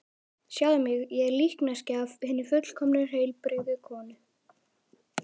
Sjáðu mig, ég er líkneskja af hinni fullkomnu, heilbrigðu konu.